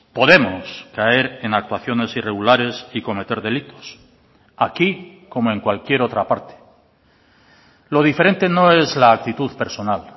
podemos caer en actuaciones irregulares y cometer delitos aquí como en cualquier otra parte lo diferente no es la actitud personal